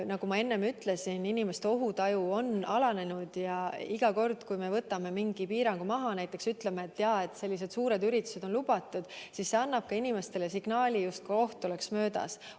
Nagu ma enne ütlesin, inimeste ohutaju on alanenud ja iga kord, kui me võtame mingi piirangu maha, näiteks ütleme, et sellised suured üritused on lubatud, anname inimestele signaali, justkui oht oleks möödas.